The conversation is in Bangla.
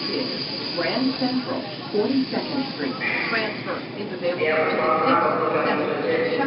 হাহ জ্বি এখন পড়াশুনা কদ্দুর কেমন কি চলছে?